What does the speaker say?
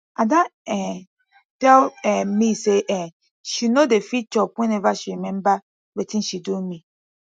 ada um tell um me say um she no dey fit chop whenever she remember wetin she do me